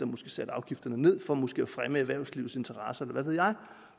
måske satte afgifterne ned for måske at fremme erhvervslivets interesser eller hvad ved jeg